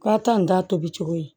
Ka taa nin ta tobi cogo ye